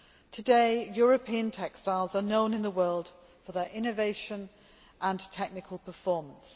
Today European textiles are known in the world for their innovation and technical performance.